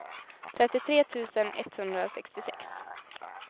trettiotre tusen etthundrasextiosex